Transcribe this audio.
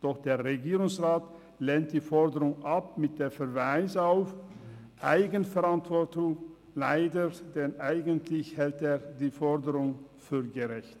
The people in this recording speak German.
Doch der Regierungsrat lehnt die Forderung mit Verweis auf «Eigenverantwortung» ab – leider, denn eigentlich hält er die Forderung für gerecht.